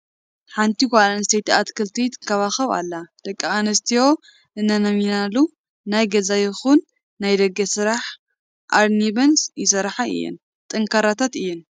ሓንቲ ጓል ኣንስተይቲ ኣትክልቲ ትንከባኸብ ኣላ፡፡ ደቂ ኣንስትዮ እንኣሚነናሉ ናይ ገዛ ይኹን ናይ ደገ ስራሕ ኣርኒበን ይሰርሓ እየን፡፡ ጠንካራታት እየን፡፡